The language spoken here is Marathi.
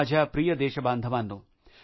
माझ्या प्रिय देशबांधवांनो